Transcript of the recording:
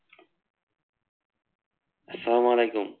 আসসালাম আলাইকুম।